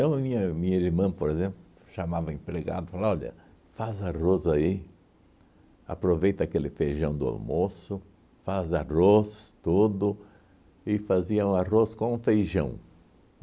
Então, minha minha irmã, por exemplo, chamava o empregado falava, olha, faz arroz aí, aproveita aquele feijão do almoço, faz arroz tudo, e faziam um arroz com feijão.